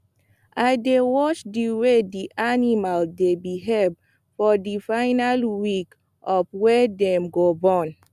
i dey watch the way the animal dy behave for the final weeks of wey dem go born